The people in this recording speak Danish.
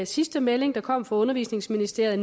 sidste melding der kom fra undervisningsministeriet